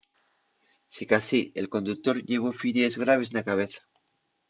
sicasí el conductor llevó firíes graves na cabeza